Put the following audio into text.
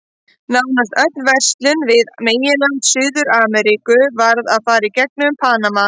Nánast öll verslun við meginland Suður-Ameríku varð að fara í gegnum Panama.